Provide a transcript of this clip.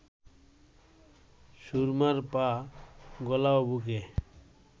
সুরমার পা, গলা ও বুকে